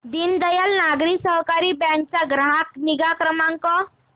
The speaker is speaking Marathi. दीनदयाल नागरी सहकारी बँक चा ग्राहक निगा क्रमांक